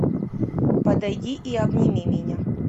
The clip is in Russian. подойди и обними меня